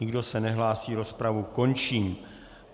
Nikdo se nehlásí, rozpravu končím.